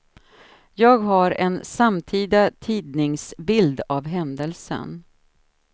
Jag har en samtida tidningsbild av händelsen.